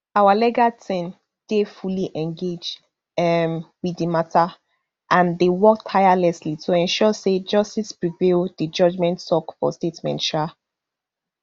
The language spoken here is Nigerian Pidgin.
our legal team dey fully engaged um wit di mata and dey work tirelessly to ensure say justice prevail di judgement tok for statement um